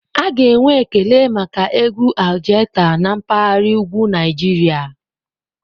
A ga-enwe ekele maka egwu Algaita na mpahara ugwu Naijiria.